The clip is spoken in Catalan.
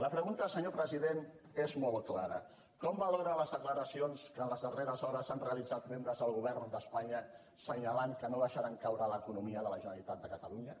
la pregunta senyor president és molt clara com valora les declaracions que ens les darreres hores han realitzat membres del govern d’espanya assenyalant que no deixaran caure l’economia de la generalitat de catalunya